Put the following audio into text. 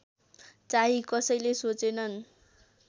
चाहिँ कसैले सोचेनन्